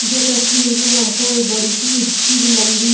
जे तस्वीर में हमको ए बडी सी ऊँची लंबी --